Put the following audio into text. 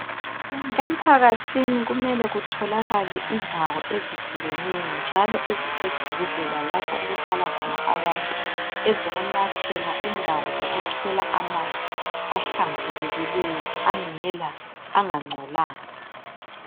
Ephakathini kumele kutholakale indawo ezihlekeneyo njalo eziseduze lalapho okuhlala khona abantu ezokunathela, indawo zokukhela amanzi ahlambukileyo angangcolanga.